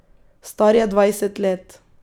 Star je dvajset let.